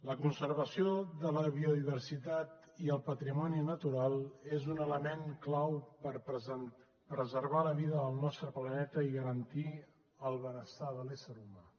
la conservació de la biodiversitat i el patrimoni natural és un element clau per a preservar la vida del nostre planeta i garantir el benestar de l’ésser humà